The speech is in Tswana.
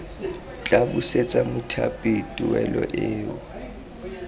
tla busetsa mothapi tuelo eo